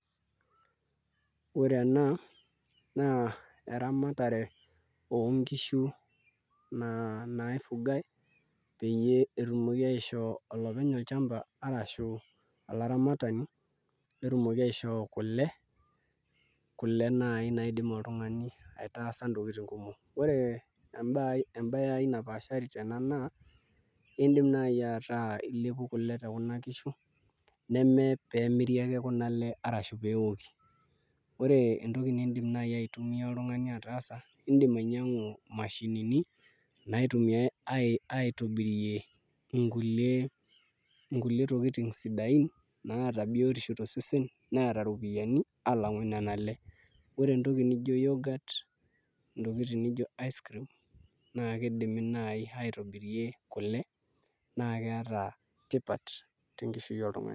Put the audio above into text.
Ore ena naa eramatare oonkishu naifugai peyie etumoki aishoo olopeny olchamba arashu olaramatani netumoki aishoo kule, kule naai naidim oltung'ani aitaasa ntokitin kumok, ore embaye aai napaashari tena naa iindim naai ataa ilepu kule tekuna kishu nemepeemiri ake kuna ale arashu pee eoki ore entoki naai niidim oltung'ani aitumia ataasa iindim ainyiang'u imashinini naitumiai aitobirie nkulie tokitin sidaain naata biotisho tosesen neeta iropiyiani alang'u nena ale ore entoki nijio youghurt intokitin nijio icecream naa kidimi naai aitobirie kule naa keeta tipat tenkishui oltung'ani.